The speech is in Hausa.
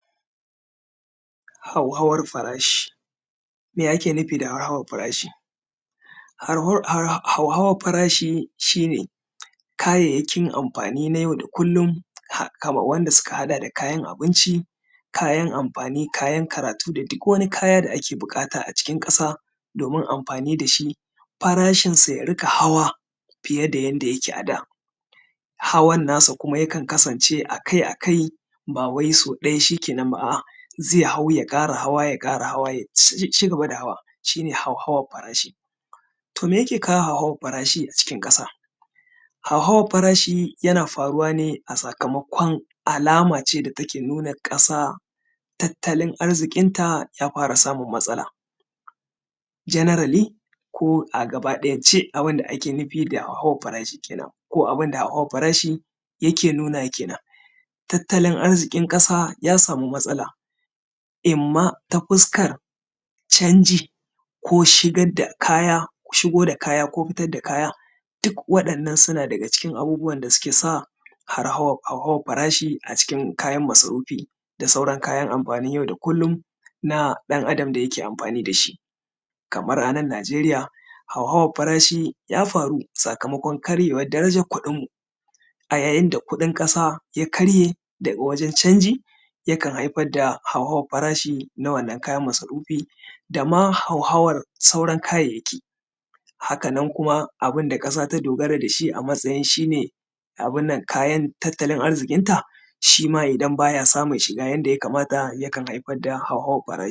Hauhawan farashi. Me ake nufi da hau hawar farashi? Hauhawar farashi shi ne kayayyakin anfani na yau da kullum wanda suka haɗa da kayan abinci, kayan amfani da kayan karatu, da duk wani kayan da ake buƙata a cikin ƙasa domin anfani da shi; farashinsa ya riƙa hawa fiye da inda yake ada. Hawan nasa kuma akai-akai ba wai so ɗaya shi kenan ba ze hau, ya ƙara hawa, ya ƙara hawa ya cigaba da hawa. Hauhawar farashi to me yake kawo hauhawar farashi a ƙasa? Hauhawar farashi yana hawa ne a sakamakon alama ce da take nuna ƙasa da tattalin arziƙinta ya fara samun matsala generally a gabaɗayance, abinda ake nufi da hauhawar farashi kenan, kuma hauhawar farashi abun da yake nunawa kenan, tattalin arziƙin ƙasa ya sami matsala. Imma ta fuskar canji ko shigad da, shigo da kaya ko fitar da kaya duk waɗannan hauhawar farashi a cikin abinda ke sa hauhawaar farashi, kenan a cikin kayan masarufi da sauran kayan anfani na yau da kullum na ɗan Adam da yake anfani da su kamar a nan Nigeriya, hauhawar farasi ya faru a sakamakon karyewan darajan kuɗinmu, a yayin da kuɗin ƙasa ya karye da wajen canji yakan haifar da hauhawar farashi na wannan kayan masarufi, dama hauhawar sauran kayan kayayyaki. Haka nan kuma abun da ƙasa ta dogara da shi a matsayin shi ne kayan tattalin aziƙin ta shi ma idan ba ya samun shiga inda yakamata yana haifar da hauhawan farashi.